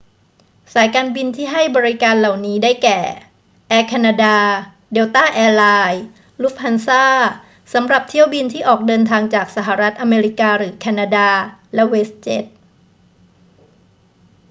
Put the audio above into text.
สายการบินที่ให้บริการเหล่านี้ ได้แก่ แอร์แคนาดา เดลต้าแอร์ไลน์ ลุฟต์ฮันซา สำหรับเที่ยวบินที่ออกเดินทางจากสหรัฐอเมริกาหรือแคนาดา และเวสต์เจ็ต